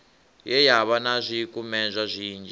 ye yavha na zwikumedzwa zwinzhi